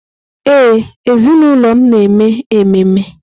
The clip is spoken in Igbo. Ee, ezinụlọ m na-eme ememe.